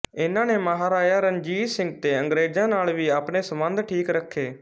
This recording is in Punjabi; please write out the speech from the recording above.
ਇਨ੍ਹਾਂ ਨੇ ਮਹਾਰਾਜਾ ਰਣਜੀਤ ਸਿੰਘ ਤੇ ਅੰਗਰੇਜ਼ਾਂ ਨਾਲ ਵੀ ਆਪਣੇ ਸੰਬੰਧ ਠੀਕ ਰੱਖੇ